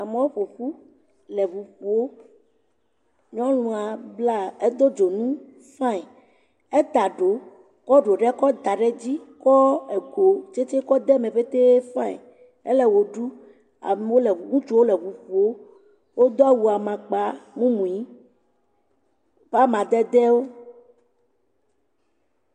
Amewo ƒoƒu le ŋu ƒoo, nyɔnua bla edo dzonu fãi, eta ɖo kɔ ɖo ɖe kɔ da ɖe edzi kɔ ego tsetse kɔ da ɖe eme petee fãi, ele wo ɖum amewo ŋutsuwo le ŋu ƒom wodo awu amakpamumui ƒe amadedewo.